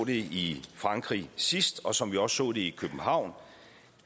i frankrig sidst og som vi også så det i københavn